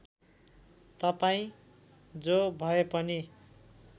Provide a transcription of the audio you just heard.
तपाईँ जो भएपनि